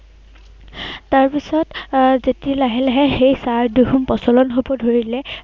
তাৰপিছত আহ যেতিয়া লাহে লাহে সেই চাহ খন প্ৰচলন হব ধৰিলে